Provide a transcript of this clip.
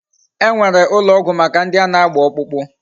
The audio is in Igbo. E nwere ulo ogwu Maka ndi ana agba okpukpu